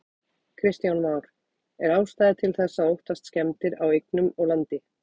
Kristján Már: Er ástæða til þess að óttast skemmdir á eignum og landi?